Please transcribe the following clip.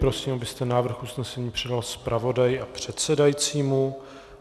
Prosím, abyste návrh usnesení předal zpravodaji a předsedajícímu.